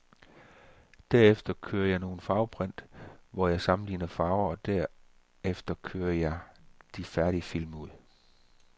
Derefter kører jeg nogle farveprint, hvor jeg sammenligner farver, og derefter kører jeg de færdige film ud.